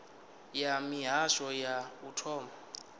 ya mihasho ya u thoma